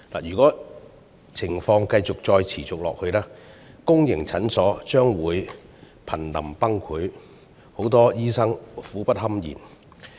如果情況持續下去，公營診所將會瀕臨崩潰，醫生苦不堪言。